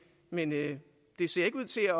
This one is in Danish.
men det det ser ikke ud til at